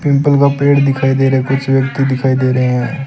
People का पेड़ दिखाई दे रहा है कुछ व्यक्ति दिखाई दे रहे हैं।